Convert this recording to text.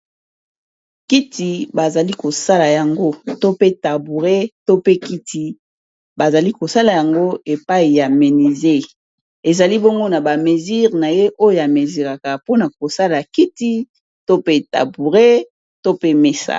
kiti bazali kosala yango to pe taboure to pe kiti bazali kosala yango epai ya menise ezali bongo na bamesire na ye oyo amesiraka mpona kosala kiti to pe taboure to pe mesai